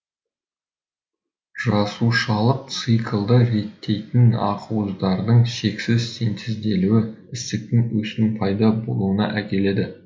жасушалық циклды реттейтін ақуыздардың шексіз синтезделуі ісіктік өсудің пайда болуына әкеледі